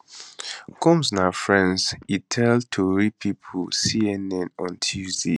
combs na friend e tell tori pipo cnn on tuesday